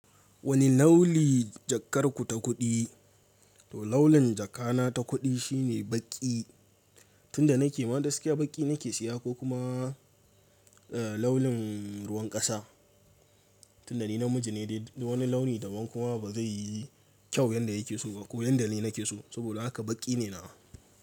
Wani lauli jakar ku ta kuɗi? Laulin jaka na ta kuɗi shine baƙi. Tun da na ke ma gaskiya baƙi na ke siya ko kuma laulin ruwan ƙasa. Tun da ni namiji ne dai wani launi da ban kuma ba zai yi kyau yanda ya ke so ba ko yanda ni na ke so. Saboda haka baƙi ne na.